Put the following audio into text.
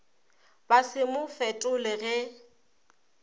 ba se mo fetole ge